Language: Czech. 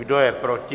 Kdo je proti?